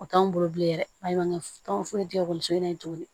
O t'anw bolo bilen dɛ baɲumankɛ tɔn foyi tɛ ekɔliso in na yen tuguni